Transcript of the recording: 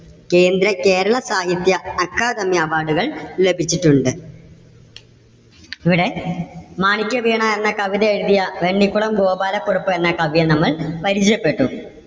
കേന്ദ്ര, കേരള സാഹിത്യ അക്കാദമി award കൾ ലഭിച്ചിട്ടുണ്ട്. ഇവിടെ മാണിക്യവീണ എന്ന കവിത എഴുതിയ വെണ്ണിക്കുളം ഗോപാല കുറുപ്പ് എന്ന കവിയെ നമ്മൾ പരിചയപ്പെട്ടു.